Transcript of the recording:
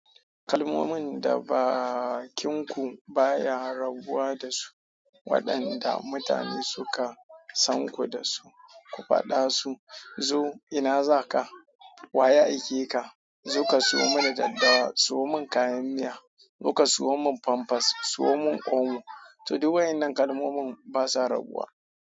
Kalmomin da bakinku baya rabuwa dasu waɗanda mutane suka sanku dasu. Ku faɗa su, "Zo ina za ka? Wa ya aike ka? Zo ka sawo mini daddawa. Sawo mun kayan miya. Zo ka sawo mun famfas. Sawo mun omo." To duk wa'innan kalmomin basa rabuwa.